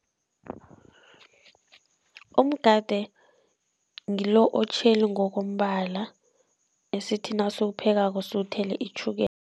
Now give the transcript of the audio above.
Umgade ngilo otjheli ngokombala, esithi nasiwuphekako siwuthele itjhukela